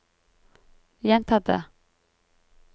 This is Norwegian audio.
gjenta det